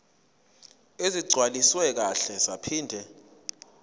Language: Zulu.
ezigcwaliswe kahle zaphinde